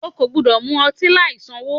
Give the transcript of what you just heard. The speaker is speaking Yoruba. O kò gbúdọ̀ mu ọtí láì sanwó.